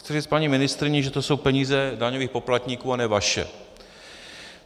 Chci říct paní ministryni, že to jsou peníze daňových poplatníků a ne vaše.